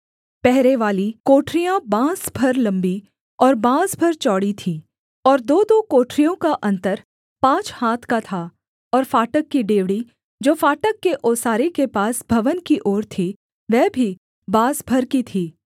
पहरेवाली कोठरियाँ बाँस भर लम्बी और बाँस भर चौड़ी थीं और दोदो कोठरियों का अन्तर पाँच हाथ का था और फाटक की डेवढ़ी जो फाटक के ओसारे के पास भवन की ओर थी वह भी बाँस भर की थी